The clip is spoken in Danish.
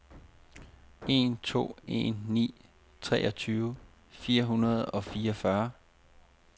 en to en ni treogtyve fire hundrede og fireogfyrre